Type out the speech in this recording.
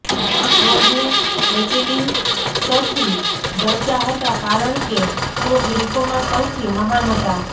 ટ્રોઝને એચિલીસથી ડરતા હતા કારણ કે તેઓ ગ્રીકોમાં સૌથી મહાન હતા